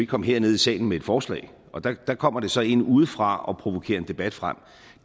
komme herned i salen med et forslag og der kommer det så ind udefra og provokerer en debat frem